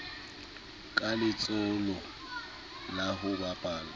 ka letsholo la ho baballa